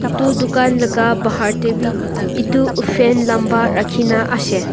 etu tucan laka bahar dae bi etu fan lamba rakina ase.